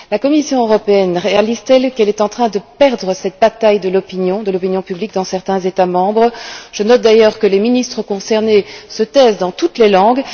La Commission européenne réalise t elle qu'elle est en train de perdre cette bataille de l'opinion publique dans certains États membres? Je note d'ailleurs que les ministres concernés se taisent dans toutes les langues.